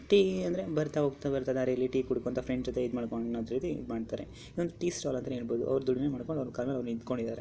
Tea ಅಂದ್ರೆ ಬರ್ತಾ ಹೋಗ್ತಾ ಬರ್ತಾ ದಾರಿಯಲ್ಲಿ ಟೀ ಕೂಡ ಕೊಂಡ ಹೋಗ್ತಾ ಫ್ರೆಂಡ್ಸ್ ಜೊತೆ ಮಾಡ್ಕೊಂಡು ಟೀ ಸ್ಟೈಲ್ ಅವರು ದುಡಿಮೆ ಮಾಡಿಕೊಂಡು ಆರ್ ಕಾಲ್ ಮೇಲ ಆರು ನಿಂತ್ಕೊಂಡಿದರೆ.